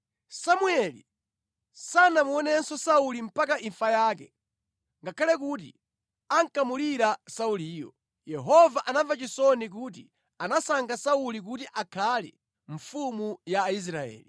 Samueli sanamuonenso Sauli mpaka imfa yake ngakhale kuti ankamulira Sauliyo. Yehova anamva chisoni kuti anasankha Sauli kuti akhale mfumu ya Israeli.